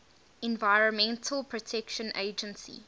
environmental protection agency